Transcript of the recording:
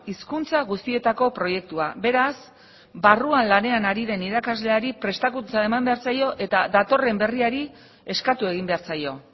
hizkuntza guztietako proiektua beraz barruan lanean ari den irakasleari prestakuntza eman behar zaio eta datorren berriari eskatu egin behar zaio